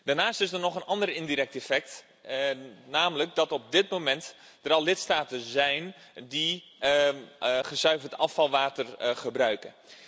Daarnaast is er nog een ander indirect effect, namelijk dat er op dit moment al lidstaten zijn die gezuiverd afvalwater gebruiken.